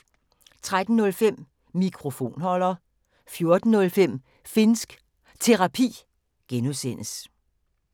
13:05: Mikrofonholder 14:05: Finnsk Terapi (G)